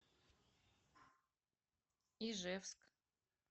ижевск